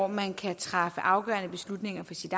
man kan træffe afgørende beslutninger for sit